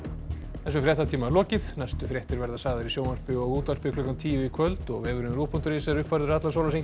þessum fréttatíma er lokið næstu fréttir verða sagðar í sjónvarpi og útvarpi klukkan tíu í kvöld og vefurinn rúv punktur is er uppfærður allan sólarhringinn